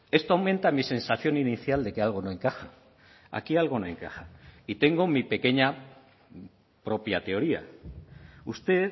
esto aumenta mi sensación inicial de que algo no encaja aquí algo no encaja y tengo mi pequeña propia teoría usted